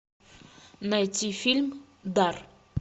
найти фильм дар